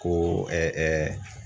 Ko